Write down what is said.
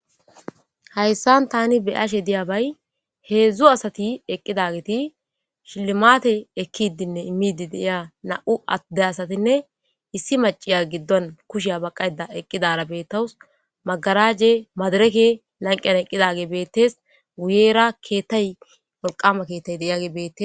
Hayssan tani be'ashe diya bayi hezzu asati eqqidaageti shilimate ekidinne immidi de'ya na'u adde asatinne issi macciya giddon kushiya baqayida eqqidara betawusi magarajey madirekey lanqqen eqidageyi bettesi guyera ketay wolqqama kettay de' yageyi bettesi.